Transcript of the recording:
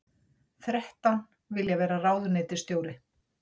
Þrettán vilja vera ráðuneytisstjóri